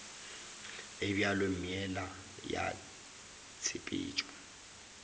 e bjalo meela ya tshepetšo